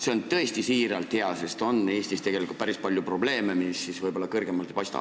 See on tõesti hea, sest Eestis on tegelikult päris palju probleeme, mis võib-olla kõrgemalt ei paista.